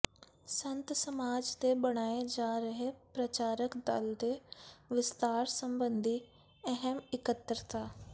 ਸੰਤ ਸਮਾਜ ਦੇ ਬਣਾਏ ਜਾ ਰਹੇ ਪ੍ਰਚਾਰਕ ਦਲ ਦੇ ਵਿਸਤਾਰ ਸਬੰਧੀ ਅਹਿਮ ਇਕੱਤਰਤਾ